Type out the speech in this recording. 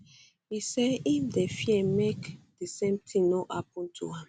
e say im dey fear make di same tin no happun to am